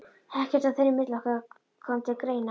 Ekkert þar á milli kom til greina.